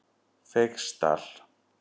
Feigsdal